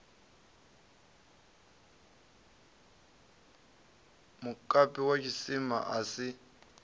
mukapi wa tshisima a si